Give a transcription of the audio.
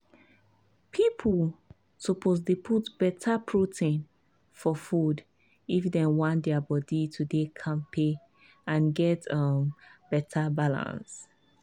people suppose dey put better protein for food if dem want their body to dey kampe and get um better balance.